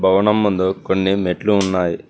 భవనం ముందు కొన్ని మెట్లు ఉన్నాయి.